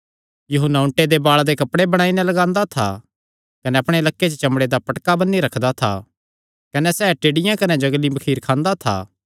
यूहन्ना ऊँटे दे बाल़ां दे कपड़े बणाई नैं लगांदा था कने अपणे लक्के च चमड़े दा पटका बन्नी रखदा था कने सैह़ टिड्डियां कने जंगली मखीर खांदा था